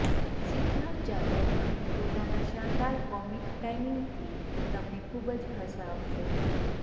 સિદ્ધાર્થ જાધવ પણ પોતાના શાનદાર કોમિક ટાઇમિંગથી તમને ખૂબ જ હસાવશે